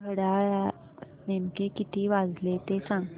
घड्याळात नेमके किती वाजले ते सांग